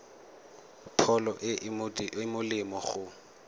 pholo e e molemo go